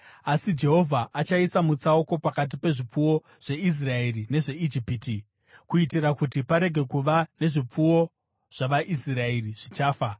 Asi Jehovha achaisa mutsauko pakati pezvipfuwo zveIsraeri nezveIjipiti, kuitira kuti parege kuva nezvipfuwo zvavaIsraeri zvichafa.’ ”